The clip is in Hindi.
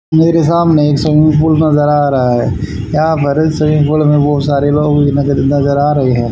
मेरे सामने एक स्विमिंग पूल नजर आ रहा है यहां पर स्विमिंग पूल में बहुत सारे लोग भी नजर नजर आ रहे हैं।